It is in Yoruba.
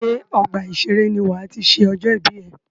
Ṣé ọgbà ìseré ní wà á ti ṣe ọjọ́ ìbí ẹ?